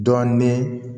Dɔɔnin